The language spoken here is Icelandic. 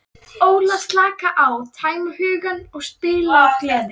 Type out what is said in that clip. Óla, slaka á, tæma hugann og spila af gleði.